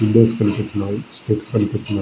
Windows కనిపిస్తున్నాయి. Steps కనిపిస్తున్నా--